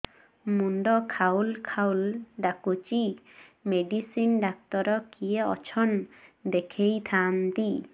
ମୁଣ୍ଡ ଖାଉଲ୍ ଖାଉଲ୍ ଡାକୁଚି ମେଡିସିନ ଡାକ୍ତର କିଏ ଅଛନ୍ ଦେଖେଇ ଥାନ୍ତି